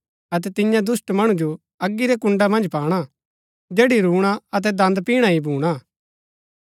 अतै तियां दुष्‍ट मणु जो अगी रै कुण्ड़ा मन्ज पाणा जैड़ी रूणा अतै दन्द पिणा ही भूणा